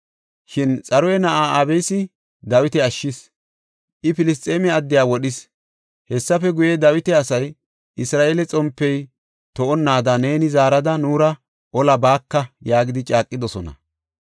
Shin Xaruya na7ay Abisi Dawita ashshis; I Filisxeeme addiya wodhis. Hessafe guye, Dawita asay, “Isra7eele xompey to7onnaada neeni zaarada nuura olaa baaka” yaagidi caaqidosona.